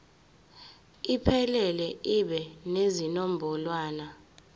iphelele ibe nezinombolwana